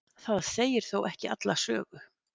Það segir þó ekki alla sögu.